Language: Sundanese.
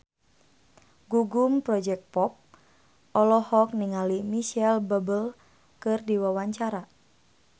Gugum Project Pop olohok ningali Micheal Bubble keur diwawancara